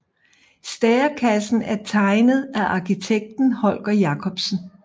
Stærekassen er tegnet af arkitekten Holger Jacobsen